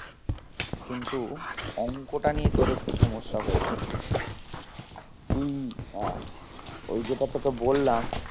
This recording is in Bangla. কিন্তু অঙ্কটা নিয়ে তোর একটু সমস্যা হয়ে যাচ্ছে তুই আহ ওই যেটা তোকে বললাম